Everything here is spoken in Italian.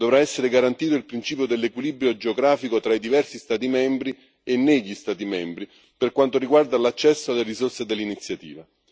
Dovrà essere garantito il principio dell'equilibrio geografico tra i diversi Stati membri e negli Stati membri per quanto riguarda l'accesso alle risorse dell'iniziativa.